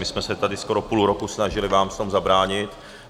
My jsme se tady skoro půl roku snažili vám v tom zabránit.